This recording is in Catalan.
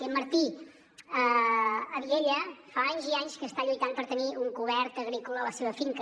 i en martí a viella fa anys i anys que està lluitant per tenir un cobert agrícola a la seva finca